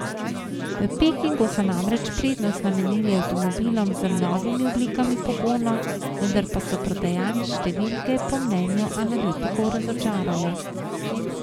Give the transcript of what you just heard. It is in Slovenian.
V Pekingu so namreč prednost namenili avtomobilom z novimi oblikami pogona, vendar pa so prodajne številke po mnenju analitikov razočarale.